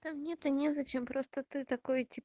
да мне то незачем просто ты такой тип